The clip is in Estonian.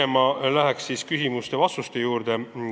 Ma lähen pigem küsimuste ja vastuste juurde.